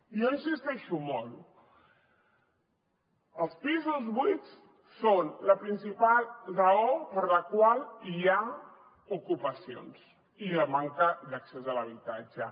jo hi insisteixo molt els pisos buits són la principal raó per la qual hi ha ocupacions i la manca d’accés a l’habitatge